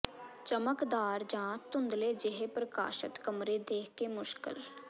ਚਮਕਦਾਰ ਜਾਂ ਧੁੰਦਲੇ ਜਿਹੇ ਪ੍ਰਕਾਸ਼ਤ ਕਮਰੇ ਦੇਖ ਕੇ ਮੁਸ਼ਕਲ